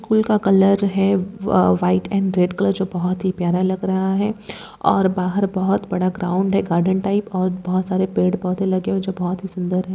School का colour है अ व व्हाइट एंड रेड कलर जो बहोत ही प्यारा लग रहा है और बाहर बहुत ही बड़ा ग्राउंड है गार्डन टाइप और बहुत सारे पेड़ पौधे लगे हुए हैं जो बहुत ही सुंदर है।